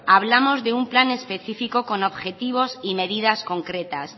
hablamos de un plan específico con objetivos y medidas concretas